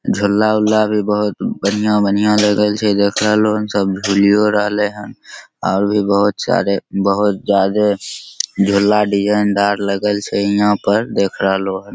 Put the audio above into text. झूला उल्ला भी बहुत बढ़िया-बढ़िया लगल छै देख रहलो लोग सब झुलियों रहले हन और भी बहुत सारे बहुत ज्यादा झूला डिज़ाइनदार लगल छै इहाँ पर देख रहले लोग हन।